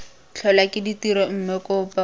tlholwa ke tiro mme kopo